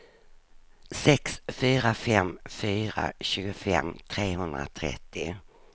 sex fyra fem fyra tjugofem trehundratrettio